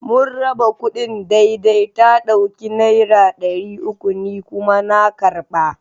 Mun raba kudin daidai, ta dauki Naira dari uku, ni kuma na karba.